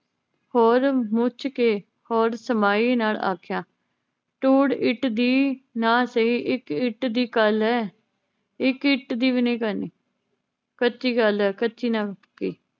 ਹੋਰ ਮੁੱਚ ਕੇ ਹੋਰ ਸਮਾਈ ਨਾਲ ਆਖਿਆ ਧੂੜ ਇੱਟ ਦੀ ਨਾ ਸਹੀ ਇਕ ਇੱਟ ਦੀ ਗੱਲ ਏ ਇੱਕ ਇੱਟ ਦੀ ਵੀ ਨਈ ਕਰਨੀ ਕੱਚੀ ਗੱਲ ਏ। ਕੱਚੀ ਨਾ ਪੱਕੀਂ